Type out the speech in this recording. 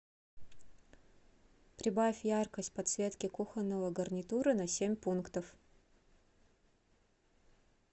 прибавь яркость подсветки кухонного гарнитура на семь пунктов